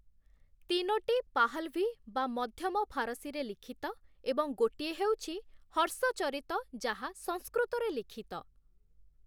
ତିନୋଟି ପାହ୍‌ଲଭି (ମଧ୍ୟମ ଫାରସୀ)ରେ ଲିଖିତ ଏବଂ ଗୋଟିଏ ହେଉଛି 'ହର୍ଷଚରିତ' ଯାହା ସଂସ୍କୃତରେ ଲିଖିତ ।